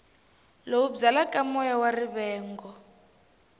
lowu byalaka moya wa rivengo